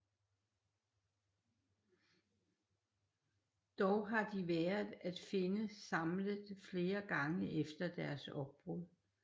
Dog har de været at finde samlet flere gange efter deres opbrud